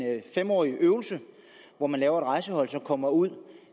fem årig øvelse hvor man laver et rejsehold som kommer ud